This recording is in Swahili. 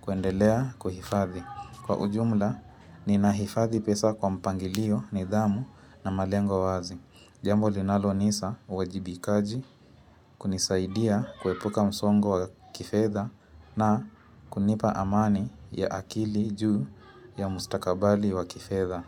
kuendelea kuhifadhi. Kwaujumla, ninahifadhi pesa kwa mpangilio, nidhamu na malengo wazi. Jambo linaloasa uwajibikaji kunisaidia kuepuka msongo wa kifedha na kunipa amani ya akili juu ya mustakabali wa kifedha.